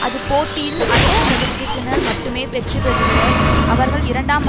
அது போட்டியில் ஐந்து சதவிகிதத்தினர் மட்டுமே வெற்றுபெறுபவர் அவர்கள் இரண்டாம்